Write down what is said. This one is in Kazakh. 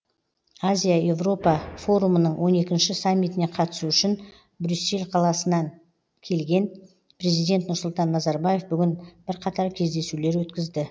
азия еуропа форумының он екінші саммитіне қатысу үшін брюссель қаласына келген президент нұрсұлтан назарбаев бүгін бірқатар кездесулер өткізді